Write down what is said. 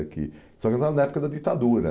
é que Só que nós estávamos na época da ditadura.